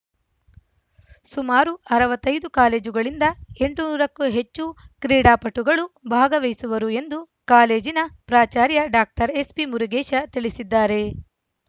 ಸುಮಾರು ಅರವತ್ತ್ ಐದು ಕಾಲೇಜುಗಳಿಂದ ಎಂಟುನೂರು ಕ್ಕೂ ಹೆಚ್ಚು ಕ್ರೀಡಾಪಟುಗಳು ಭಾಗವಹಿಸುವರು ಎಂದು ಕಾಲೇಜಿನ ಪ್ರಾಚಾರ್ಯ ಡಾಕ್ಟರ್ ಎಸ್‌ಬಿ ಮುರುಗೇಶ ತಿಳಿಸಿದ್ದಾರೆ